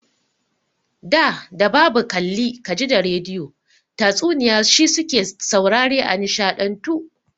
Da da babu kalli ka ji da rediyo, tatsuniya shi su ke saurare a nishaɗantu.